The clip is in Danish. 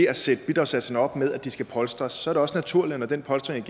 at sætte bidragssatserne op med at de skal polstres så er det også naturligt at når den polstring